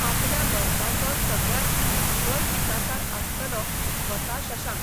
आपल्या बरपाचो सगळ्यांत खर टिकाकार आसतालो स्वता शशांक.